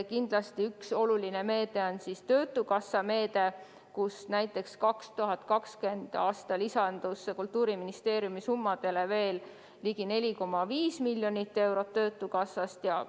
Kindlasti üks oluline meede on töötukassa meede, mille kaudu lisandus 2020. aastal Kultuuriministeeriumi toetustele veel ligi 4,5 miljonit eurot.